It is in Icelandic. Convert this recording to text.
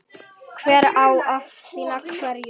Hver á að sinna hverju?